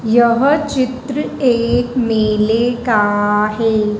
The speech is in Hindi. यह चित्र एक मेले का है।